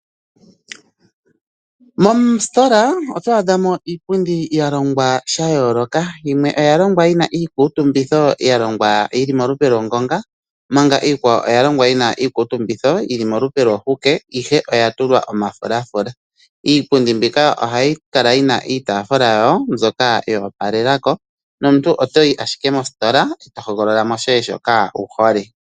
Moositola oto adha mo iipundi ya longwa sha yooloka yimwe oya longwa yi na iikutumbitho ya longwa yi li molupe lwongonga, omanga iikwawo oya longwa yi na iikutumbitho yi li molupe lwo hukeihe oya tulwa omafulafula. Iipundi mbika ohayi kala yi na iitaafula yawo mbyoka yo opalela ko nomuntu oto yi ashike mositola e to hogolola shoye shoka wu hole.